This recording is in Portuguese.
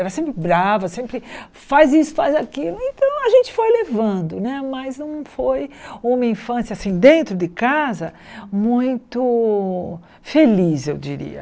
Era sempre brava, sempre faz isso, faz aquilo, então a gente foi levando né, mas não foi uma infância assim, dentro de casa, muito feliz, eu diria.